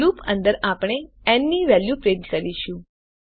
loop અંદર આપણે n ની વેલ્યુ પ્રિન્ટ કરીશું